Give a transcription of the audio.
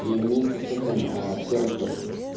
и вместе с этим серый текст